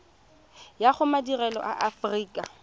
ya go madirelo a aforika